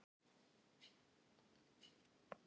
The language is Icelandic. Jónas bjó bæði á Íslandi og í Danmörku.